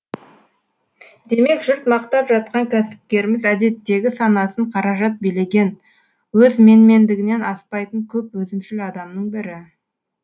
демек жұрт мақтап жатқан кәсіпкеріміз әдеттегі санасын қаражат билеген өз менмендігінен аспайтын көп өзімшіл адамның бірі